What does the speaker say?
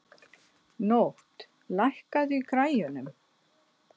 Nótt, lækkaðu í græjunum.